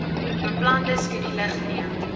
beplande skedule geneem